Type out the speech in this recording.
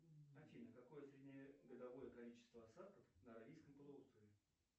афина какое среднегодовое количество осадков на аравийском полуострове